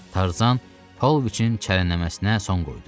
Tarzan Pauloviçin çərənləməsinə son qoydu.